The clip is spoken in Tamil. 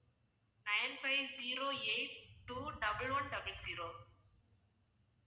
nine five zero eight two double one double zero